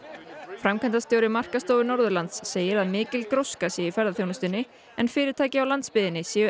framkvæmdastjóri markaðsstofu Norðurlands segir að mikil gróska sé í ferðaþjónustunni en fyrirtæki á landsbyggðinni séu